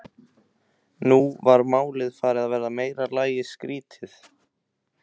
Nú var málið farið að verða í meira lagi skrýtið.